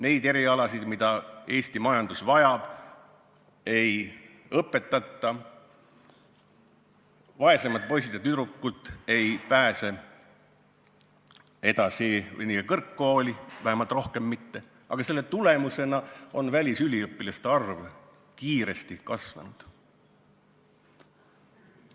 Neid erialasid, mida Eesti majandus vajab, ei õpetata ning vaesemad poisid ja tüdrukud ei pääse endiselt kõrgkooli – vähemalt mitte rohkem kui varem –, küll aga on selle tulemusena välisüliõpilaste arv kiiresti kasvanud.